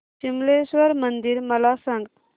विमलेश्वर मंदिर मला सांग